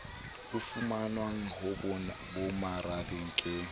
a fumanwang ho bomarabe ke